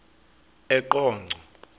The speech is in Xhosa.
eqonco